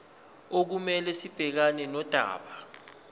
okumele sibhekane nodaba